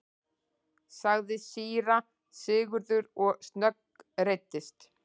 sagði síra Sigurður og snöggreiddist.